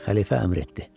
Xəlifə əmr etdi.